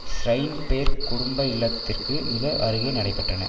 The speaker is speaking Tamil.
ஸ்ரையின்பேர்க் குடும்ப இல்லத்திற்கு மிக அருகே நடைபெற்றன